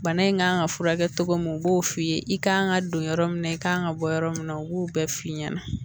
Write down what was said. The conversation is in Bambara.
Bana in kan ka furakɛ cogo min u b'o f'i ye i kan ka don yɔrɔ min na i kan ka bɔ yɔrɔ min na u b'o bɛɛ f'i ɲɛna